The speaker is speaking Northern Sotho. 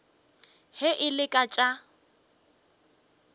ge e le ka tša